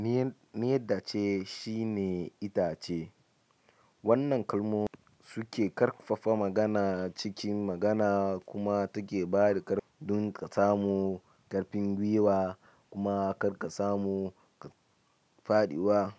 "Miyedda ce" shine itace. Wannan kalmomi suke ƙarfafa magana cikin magana kuma take ba da ƙarfi don ka samu ƙarfin gwiwa kuma kar ka samu faɗuwa.